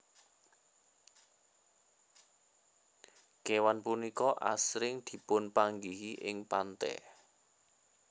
Kéwan punika asring dipunpanggihi ing pantè